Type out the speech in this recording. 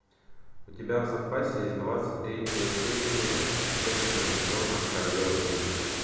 у тебя в запасе есть двадцать третья серия четырнадцатого сезона королева крика